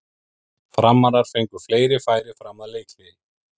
Framarar fengu fleiri færi fram að leikhléi.